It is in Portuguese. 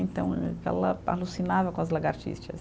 Então, ela alucinava com as lagartixas.